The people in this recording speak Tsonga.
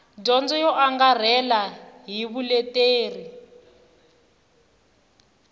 dyondzo yo angarhela ni vuleteri